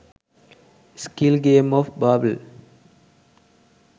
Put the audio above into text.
skill games of barbie